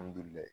Alihamdulilayi